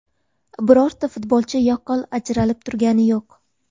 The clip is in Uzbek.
Birorta futbolchi yaqqol ajralib turgani yo‘q.